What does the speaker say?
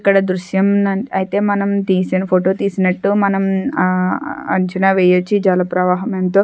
ఇక్కడ దృశ్యం న అయితే మనం తీసిన ఫొటో తీసినట్టు మనం అంచనా వేయొచ్చు. ఈ జల ప్రవాహం ఎంతో --